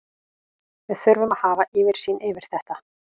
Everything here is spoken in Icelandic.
Við þurfum að hafa yfirsýn yfir þetta.